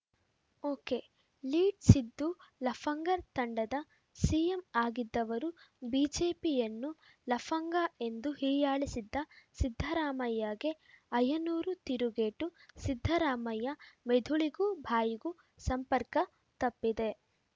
ಒಕೆಲೀಡ್‌ ಸಿದ್ದು ಲಫಂಗರ್ ತಂಡದ ಸಿಎಂ ಆಗಿದ್ದವರು ಬಿಜೆಪಿಯನ್ನು ಲಫಂಗ ಎಂದು ಹೀಯಾಳಿಸಿದ್ದ ಸಿದ್ದರಾಮಯ್ಯಗೆ ಆಯನೂರು ತಿರುಗೇಟು ಸಿದ್ದರಾಮಯ್ಯ ಮೆದುಳಿಗೂ ಬಾಯಿಗೂ ಸಂಪರ್ಕ ತಪ್ಪಿದೆ